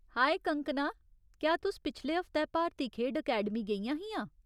हाए कंगकना, क्या तुस पिछले हफ्तै भारती खेढ अकैडमी गेइयां हियां ?